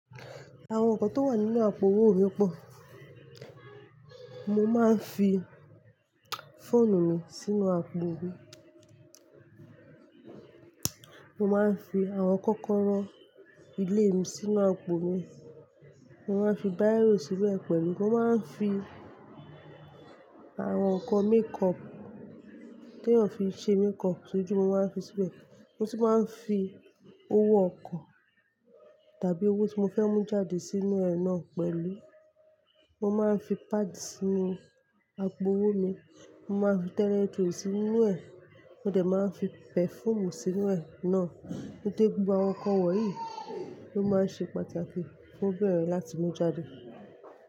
Àwọn nǹkan tó wà nínú àpò owó mí pọ̀. Mo máa ń fi fóònù mi sí nú àpò mi, mo máa ń fi àwọn kọ́kọ́rọ́ ilé mi sínú àpò mi, mo máa ń fi biro síbẹ̀ pẹ̀lú, mo máa ń fi àwọn nǹkan makeup tí èèyàn fi ń ṣe makeup sójú, mo máa ń fi síbẹ̀. Mo tun máa ń fi owó ọkọ̀ tàbí owó tí mo fẹ́ mú jáde sínú ẹ̀ náà pẹ̀lú. Mo máa ń fi padi sínú àpò owó mi, mo máa ń fi toilet roll sínú ẹ̀, mo dẹ̀ máa ń fi perfume sínú ẹ̀ náà. Dede gbogbo awọ̀n nkan wọ̀nyí ló máa ń ṣe pàtàkì fún obìnrin láti mú jáde.